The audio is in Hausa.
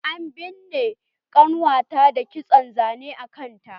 An binne ƙannuwa ta da kitson zane a kanta.